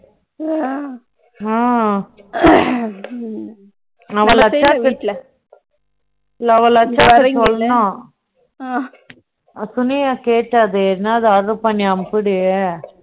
Love letter பண்ணி